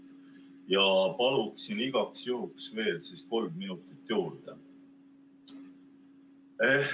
Ja palun igaks juhuks veel kolm minutit juurde.